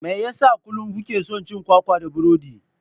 Me yasa kullum kuke cin kwakwa da burodi?